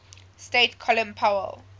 state colin powell